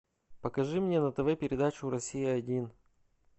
покажи мне на тв передачу россия один